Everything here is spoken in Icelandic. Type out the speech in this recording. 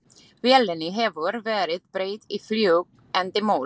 Vélinni hefur verið breytt í fljúg andi moll.